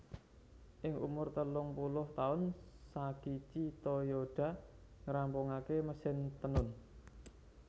Ing umur telungpuluh taun Sakichi Toyoda ngrampungakaké mesin Tenun